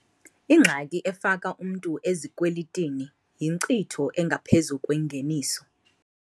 Ingxaki efaka umntu ezikwelitini yinkcitho engaphezu kwengeniso.